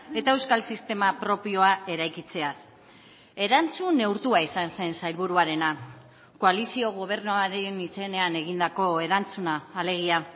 eta euskal sistema propioa eraikitzeaz erantzun neurtua izan zen sailburuarena koalizio gobernuaren izenean egindako erantzuna alegia